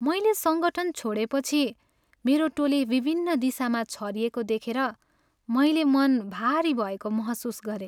मैले सङ्गठन छोडेपछि मेरो टोली विभिन्न दिशामा छरिएको देखेर मैले मन भारी भएको महसुस गरेँ।